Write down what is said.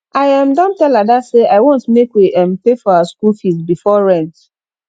i um don tell ada say i want make we um pay for our school fees before rent